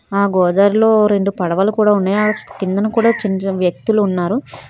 ఆ గోదారిలో రెండు పడవలు కూడా ఉన్నాయి కిందన కూడా చిన్న చిన్న వ్యక్తులు ఉన్నారు.